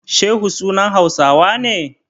Shehu sunan Hausawa ne?